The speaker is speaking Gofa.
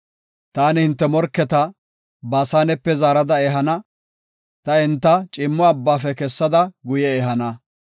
“Taani hinte morketa Baasanepe zaarada ehana; ta enta ciimmo abbafe kessada guye ehana.